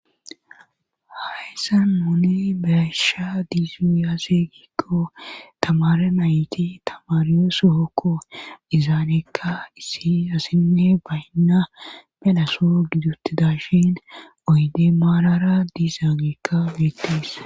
Hayssa nune besha dziaysi aazee giikko tamare nayti tamaryo sohokko izaaneekka isi asinne baynna belaso gidutidashin oyde maarara diizaageekka beettees.